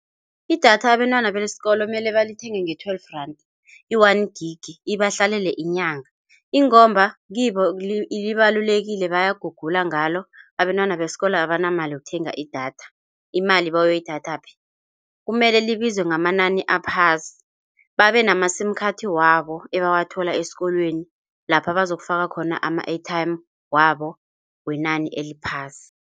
Idatha abentwana besikolo mele balithenge nge-twelve rand i-one gig ibahlalele inyanga ingomba kibo libalulekile bayagulgula ngalo. Abentwana besikolo abanayo imali yokuthenga idatha. Imali bayoyithatha kuphi kumele libize ngamanani aphasi babenama-sim card wabo ebawathola esikolweni lapha bazokufaka khona ama-airtime wabo wenani eliphasi.